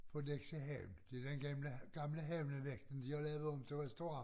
På Nexø havn den gamle gamle havnevagten de har lavet om til restaurant